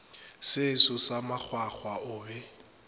seso sa makgwakgwa o be